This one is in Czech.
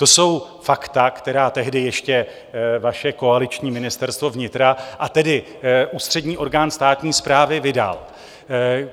To jsou fakta, která tehdy ještě vaše koaliční Ministerstvo vnitra, a tedy ústřední orgán státní správy, vydalo.